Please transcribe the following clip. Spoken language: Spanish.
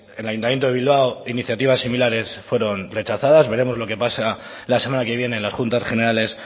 el ayuntamiento de bilbao iniciativas similares fueron rechazadas veremos lo que pasa la semana que viene en las juntas generales